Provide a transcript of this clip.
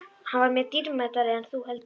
Hann var mér dýrmætari en þú heldur.